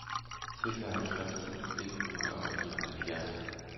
seksoghalvtreds tusind et hundrede og nioghalvfjerds